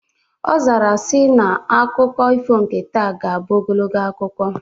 Ọ zara ya na akụkọ ifo nke taa ga-abụ ogologo akụkọ